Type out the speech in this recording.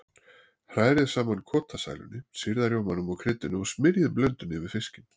Hrærið saman kotasælunni, sýrða rjómanum og kryddinu og smyrjið blöndunni yfir fiskinn.